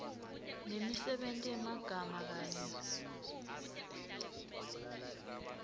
nemisebenti yemagama kanye